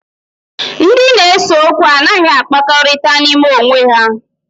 Ndị na-ese okwu anaghị akpakọrịta n'ime onwe ha